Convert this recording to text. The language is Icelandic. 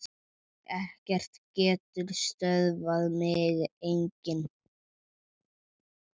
Ekkert getur stöðvað mig, enginn.